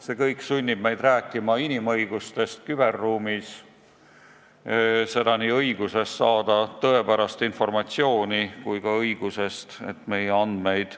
See kõik sunnib meid rääkima inimõigustest küberruumis – nii õigusest saada tõepärast informatsiooni kui ka õigusest, et meie andmeid